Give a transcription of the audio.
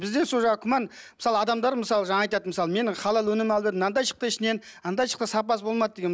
бізде сол жағы күмән мысалы адамдар мысалы жаңағы айтады мысалы менің халал өнім алып едім мынандай шықты ішінен андай шықты сапасы болмады деген